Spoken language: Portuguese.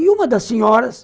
E uma das senhoras,